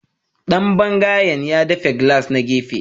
Dan bangayen ya dafe gilas na gefe